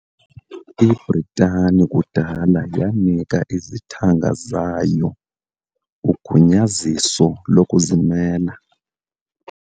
Ibritani kudala yanika izithanga zayo ugunyaziso lokuzimela.